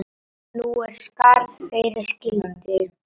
Nú er skarð fyrir skildi.